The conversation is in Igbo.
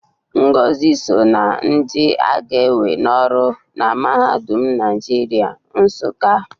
Ngozi so na ndị a ga-ewe n'ọrụ na Mahadum Naịjirịa, Nsụka